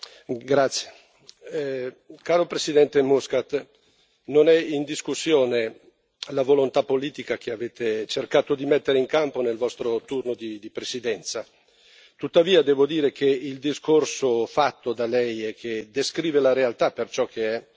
Signor Presidente, onorevoli colleghi, signor Presidente Muscat, non è in discussione la volontà politica che avete cercato di mettere in campo nel vostro turno di Presidenza. Tuttavia, devo dire che il discorso fatto da Lei, che descrive la realtà per ciò che è,